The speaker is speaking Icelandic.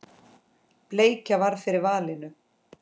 Bleikja varð fyrir valinu.